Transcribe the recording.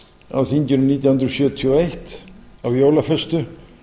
á þinginu nítján hundruð sjötíu og eitt á jólaföstu